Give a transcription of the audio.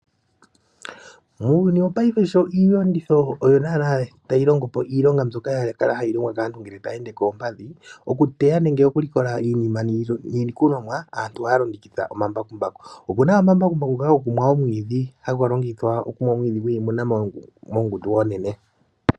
Muuyuni wopaife sho iiyenditho oyo tayi longo po iilonga mbyoka yakala hayi longwa kaantu ngele taya ende koompadhi, okuteya nenge okulikola iilikolomwa, aantu ohaya longitha omambakumbaku. Opuna omambakumbaku ngoka goku mwa omwiidhi, haga longithwa oku mwa omwiidhi mongundu onene.